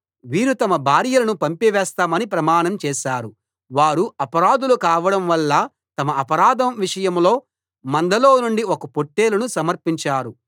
వీరు తమ తమ భార్యలను పంపివేస్తామని ప్రమాణం చేశారు వారు అపరాధులు కావడంవల్ల తమ అపరాధం విషయంలో మందలోనుండి ఒక పొట్టేలును సమర్పించారు